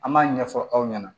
An b'a ɲɛfɔ aw ɲɛna